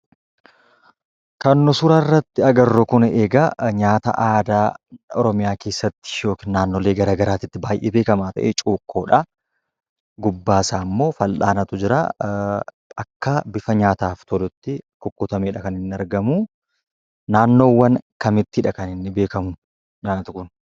Kan, suuraa irratti agarruu kun egaa nyaata aadaa, Oromiyaa keessatti ykn naannoolee garagaratti baay'ee beekama ta'e, cuukkoodha. gubbaa isaammoo fal'aanatu jira. akka bifa nyaataaf tolutti, kukkutamedha kaniin argamu. naannoowwaan kamittidha kaniinni beekamu nyaati kun?